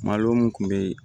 Malo mun kun be yen